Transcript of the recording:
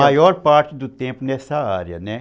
A maior parte do tempo nessa área, né?